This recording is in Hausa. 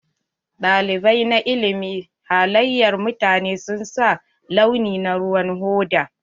Ɗalibai na ilimin halayar mutane sun sa launi na ruwan hoda.